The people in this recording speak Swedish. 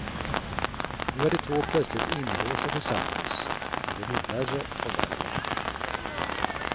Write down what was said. Nu är de två plötsligt inlåsta tillsammans och det blir värre och värre.